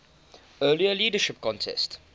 earlier leadership contest